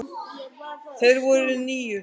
Þeir voru níu.